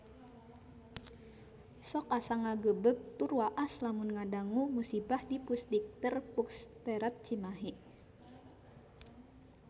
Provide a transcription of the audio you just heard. Sok asa ngagebeg tur waas lamun ngadangu musibah di Pusdikter Pusterad Cimahi